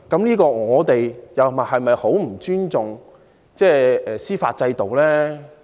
如果我們這樣做，豈非十分不尊重司法制度？